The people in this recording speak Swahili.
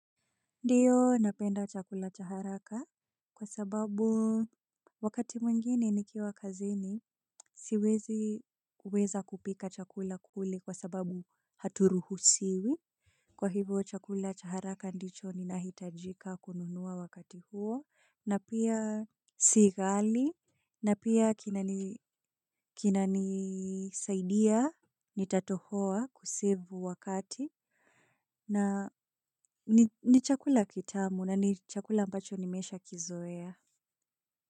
Ndio napenda chakula chaharaka kwa sababu wakati mwingine nikiwa kazini siwezi kuweza kupika chakula kule kwa sababu haturuhusiwi. Kwa hivyo chakula chaharaka ndicho ni nahitajika kununua wakati huo na pia si ghali na pia kinani saidia nitatohoa kusevu wakati. Na ni chakula kitamu na ni chakula ambacho nimeshaa kizoea.